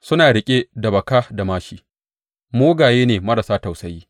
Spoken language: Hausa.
Suna riƙe da baka da māshi; mugaye ne marasa tausayi.